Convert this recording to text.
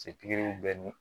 pikiriw bɛ ni